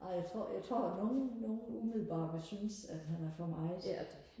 ej jeg tror jeg tror nogle nogle umiddelbart vil synes at han er for meget